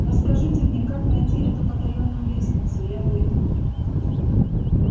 расскажите мне как найти эту потаённую лестницу я выйду